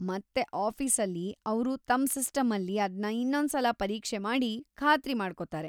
ಮತ್ತೆ ಆಫೀಸಲ್ಲಿ ಅವ್ರು ತಮ್‌ ಸಿಸ್ಟಮಲ್ಲಿ ಅದ್ನ ಇನ್ನೊಂದ್ಸಲ ಪರೀಕ್ಷೆ ಮಾಡಿ ಖಾತ್ರಿ ಮಾಡ್ಕೊತಾರೆ.